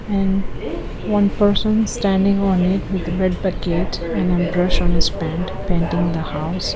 and one person standing on it with red bucket and a brush on his pant painting the house.